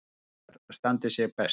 Svíar standi sig best.